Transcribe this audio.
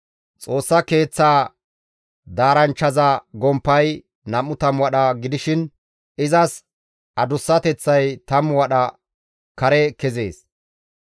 Xoossa Keeththaa daaranchchaza gomppay 20 wadha gidishin izas adussateththay 10 wadha kare kezees.